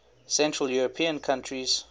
central european countries